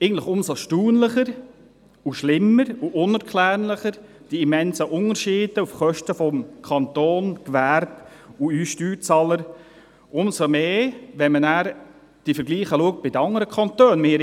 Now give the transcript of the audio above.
Eigentlich umso erstaunlicher und schlimmer und unerklärlicher sind die immensen Unterschiede bei Kosten des Kantons, des Gewerbes und von uns Steuerzahlern, umso mehr, wenn man die Vergleiche mit anderen Kantonen sieht.